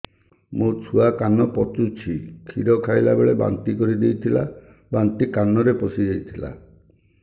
ମୋ ଛୁଆ କାନ ପଚୁଛି କ୍ଷୀର ଖାଇଲାବେଳେ ବାନ୍ତି କରି ଦେଇଥିଲା ବାନ୍ତି କାନରେ ପଶିଯାଇ ଥିଲା